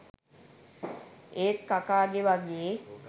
ඒත් කකාගෙ වගේ